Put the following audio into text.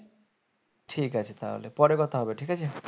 ঠিক আছে তাহলে পরে কথা হবে ঠিক আছে